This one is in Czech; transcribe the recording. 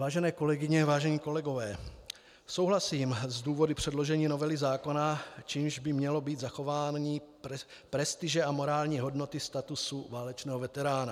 Vážené kolegyně, vážení kolegové, souhlasím s důvody předložení novely zákona, čímž by mělo být zachování prestiže a morální hodnoty statutu válečného veterána.